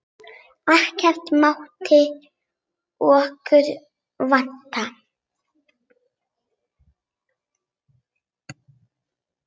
Ekkert mátti okkur vanta.